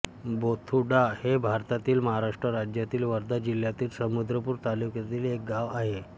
बोथुडा हे भारतातील महाराष्ट्र राज्यातील वर्धा जिल्ह्यातील समुद्रपूर तालुक्यातील एक गाव आहे